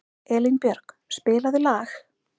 Elínbjörg, spilaðu lag.